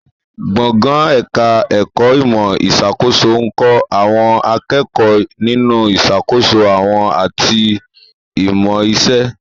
Gbọ̀ngàn ẹ̀ka ẹ̀kọ́ ìmọ̀ ìṣàkóso ń kọ́ àwọn akẹ́kọ̀ọ́ nínú ìṣàkóso òwò àti ìmọ̀ iṣẹ́